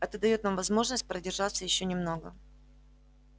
это даёт нам возможность продержаться ещё немного